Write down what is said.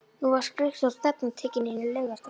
Nú var skrykkjótt stefnan tekin inn í Laugardal.